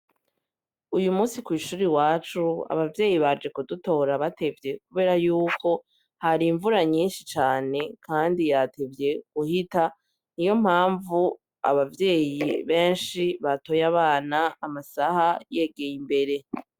Uyu munsi kw’ishuri wacu abavyeyi baje kudutora batevye kubera yuko hari imvura nyinshi cane kandi yatevye guhita, ni yo mpamvu abavyeyi benshi batoye abana amasaha yegeye imbere.